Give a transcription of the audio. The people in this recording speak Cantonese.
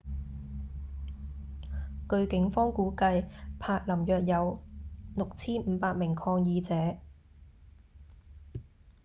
據警方估計柏林約有 6,500 名抗議者